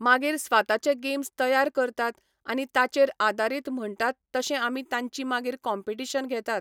मागीर स्वाताचे गेम्स तयार करतात आनी ताचेर आदारीत म्हणटात तशें आमी तांची मागीर कॉम्पिटीशन घेतात.